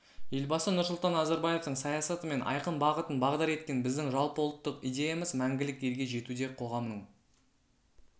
елбасы нұрсұлтан назарбаевтың саясаты мен айқын бағытын бағдар еткен біздің жалпыұлттық идеямыз мәңгілік елге жетуде қоғамның